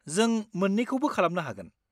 जों मोन्नैखौबो खालामनो हागोन।